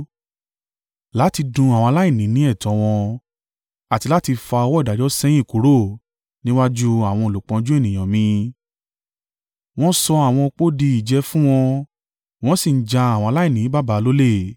láti dún àwọn aláìní ní ẹ̀tọ́ wọn àti láti fa ọwọ́ ìdájọ́ sẹ́yìn kúrò níwájú àwọn olùpọ́njú ènìyàn mi, wọ́n sọ àwọn ọ̀pọ̀ di ìjẹ fún wọn, wọ́n sì ń ja àwọn aláìní baba lólè.